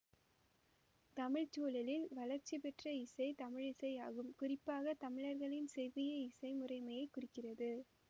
தமிழ் சூழலில் வளர்ச்சி பெற்ற இசை தமிழிசை ஆகும் குறிப்பாக தமிழர்களின் செவ்விய இசை முறைமையைக் குறிக்கிறது